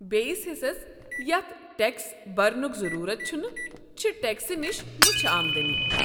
بیٚیس حصس یتھ ٹیكس برنُک ضروٗرت چھُنہٕ چھِ ٹیكسہٕ نِشہ مُچھہِ آمدٔنی۔